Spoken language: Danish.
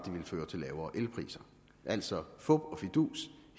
ville føre til lavere elpriser altså fup og fidus